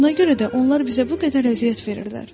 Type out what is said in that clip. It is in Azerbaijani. Buna görə də onlar bizə bu qədər əziyyət verirlər.